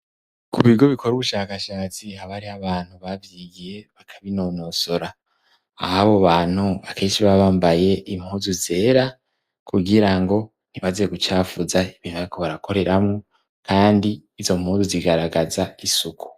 Ku bigo bikora ubushakashatsi haba hariho abantu bavyigiye bakabinonosora. Aho abo bantu akenshi baba bambaye impuzu zera, kugira ngo ntibaze gucafuza ibintu bariko barakoreramwo, kandi izo mpuzu zigaragaza isuku.